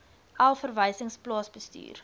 elf verwysings plaasbestuur